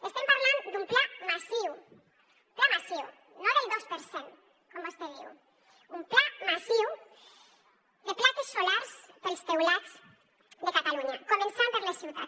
estem parlant d’un pla massiu pla massiu no del dos per cent com vostè diu de plaques solars pels teulats de catalunya començant per les ciutats